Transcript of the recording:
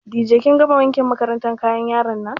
Dije kin gama wankin kayan makarantan yaran nan?